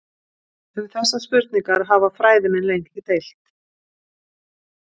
Um þessar spurningar hafa fræðimenn lengi deilt.